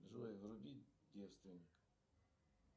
джой вруби девственник